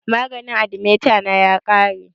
Maganin athemeta na ya ƙare